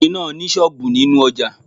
ọkùnrin náà ni sọ́ọ̀bù nínú ojà